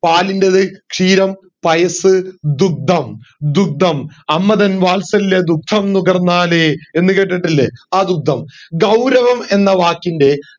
പാലിന്റേതു ക്ഷീരം പയസ് ദുദ്ധം ദുദ്ധം അമ്മതൻ വാത്സല്യ ദുദ്ധം നുകർന്നാലേ എന്ന് കേട്ടിട്ടില്ലേ ആ ദുദ്ധം ഗൗരവം എന്ന വാക്കിൻറെ